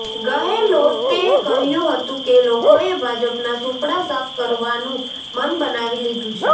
ગહેલોતે કહ્યું હતું કે લોકોએ ભાજપનાં સૂપડા સાફ કરવાનું મન બનાવી લીધું છે